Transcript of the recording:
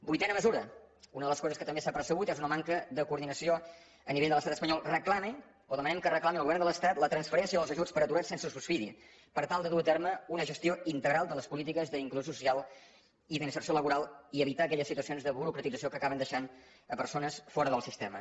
vuitena mesura una de les coses que també s’ha percebut és una manca de coordinació a nivell de l’estat espanyol reclami o demanem que reclami al govern de l’estat la transferència dels ajuts per a aturats sense subsidi per tal de dur a terme una gestió integral de les polítiques d’inclusió social i d’inserció laboral i evitar aquelles situacions de burocratització que acaben deixant persones fora del sistema